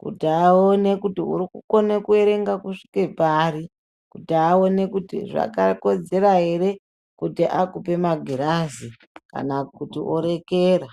kuti aone kuti uri kukone kuerenga kusvika pari, kuti aone kuti zvakakodzera ere kuti akupe magirazi kana kuti orekera.